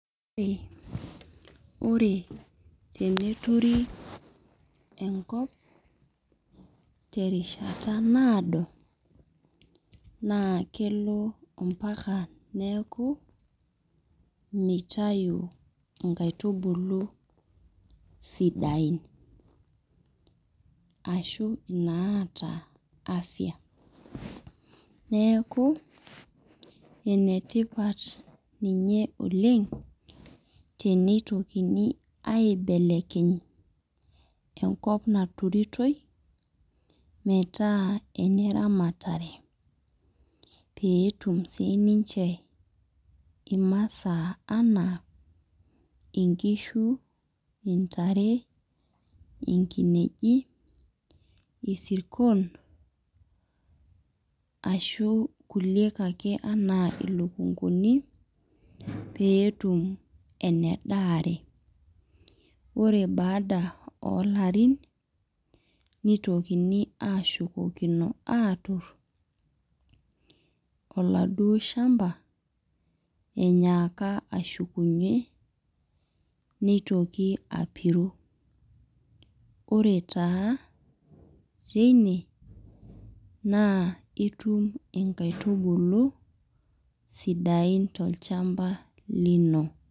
Ore teneturi enkop, terishata naado, naa kelo ompaka neeku mitayu inkaitubulu sidain. Ashu inaata afya. Neeku, enetipat ninye oleng, tenitokini aibelekeny enkop naturitoi, metaa eneramatare. Peetum sininche imasaa anaa inkishu, intare, inkineji, isirkon, ashu kulie ake anaa ilukunkuni, peetum enedaare. Ore baada olarin, nitokini ashukokino atur, oladuo shamba, enyeeka ashukunye, nitoki apiru. Ore taa teine, naa itum inkaitubulu, sidain tolchamba lino.